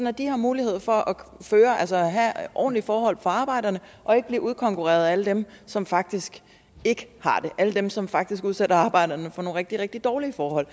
at de har mulighed for at have ordentlige forhold for arbejderne og ikke bliver udkonkurreret af alle dem som faktisk ikke har det alle dem som faktisk udsætter arbejderne for nogle rigtig rigtig dårlige forhold